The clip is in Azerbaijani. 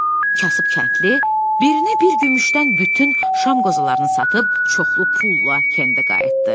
Kasıb kəndli birini bir gümüşdən bütün şam qozalarını satıb çoxlu pulla kəndə qayıtdı.